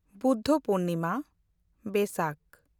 Buddha Purnima